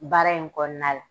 Baara in kɔɔna la